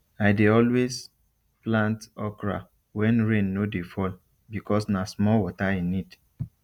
i dey always plant okra when rain no dey fall because na small water e need